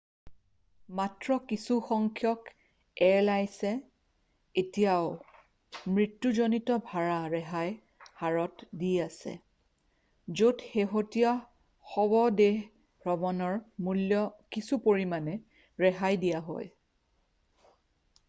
মাত্ৰ কিছুসংখ্যক এয়াৰলাইছে এতিয়াও মৃত্যুজনিত ভাড়া ৰেহাই হাৰত দি আছে য'ত শেহতীয়া শৱদেহ ভ্ৰমণৰ মূল্য কিছু পৰিমানে ৰেহাই দিয়া হয়